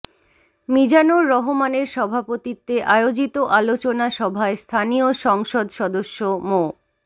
মিজানুর রহমানের সভাপতিত্বে আয়োজিত আলোচনা সভায় স্থানীয় সংসদ সদস্য মো